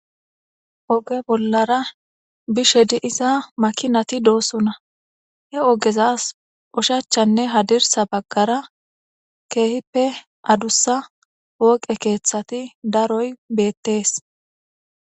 oge bollara bishe diza makinati doosona he ogezas oshachanne hadirsa baggara keehippe adussa wooqe keeththati daroy beettees